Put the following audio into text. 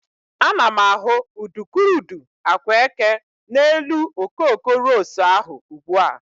Ana m ahụ udukurudu agwa eke n'elu okoko ros ahụ ugbua.